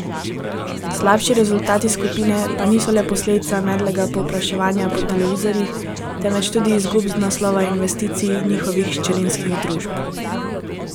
Slabši rezultati skupine pa niso le posledica medlega povpraševanja po televizorjih, temveč tudi izgub z naslova investicij njihovih hčerinskih družb.